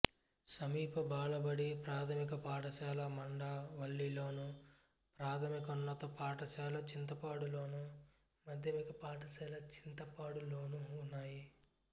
సమీప బాలబడి ప్రాథమిక పాఠశాల మండవల్లిలోను ప్రాథమికోన్నత పాఠశాల చింతపాడులోను మాధ్యమిక పాఠశాల చింతపాడులోనూ ఉన్నాయి